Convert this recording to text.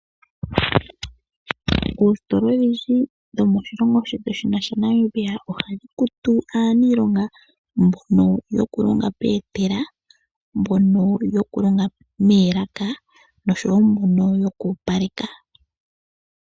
Oositola odhindji dho moshilongo shetu shino sha Namibia, oha dhi kutu aaniilonga mbono yoku longa peetela, mbono yoku longa meelaka, osho wo mbono yoku opaleka.